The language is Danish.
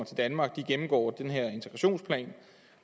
til danmark gennemgår den her integrationsplan